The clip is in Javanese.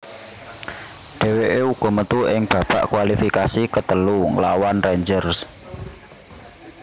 Dheweke uga metu ing babak kualifikasi ketelu nglawan Rangers